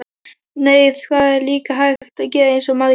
Nei, það var líka hægt að gera eins og Margrét.